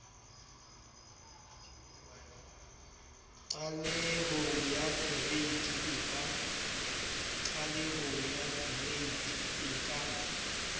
qalehong ya kereite e ka